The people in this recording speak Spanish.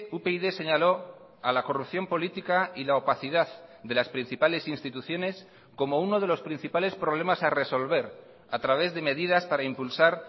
upyd señaló a la corrupción política y la opacidad de las principales instituciones como uno de los principales problemas a resolver a través de medidas para impulsar